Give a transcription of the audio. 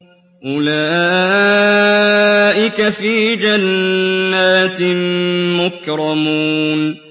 أُولَٰئِكَ فِي جَنَّاتٍ مُّكْرَمُونَ